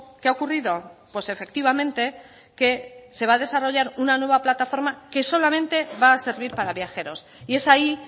qué ha ocurrido pues efectivamente que se va a desarrollar una nueva plataforma que solamente va a servir para viajeros y es ahí